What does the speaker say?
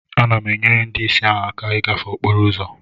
Ana m enyere ndị ìsì ahụ aka ịgafe okporo ụzọ